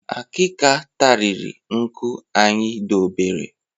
Akika tariri nkụ anyị dobere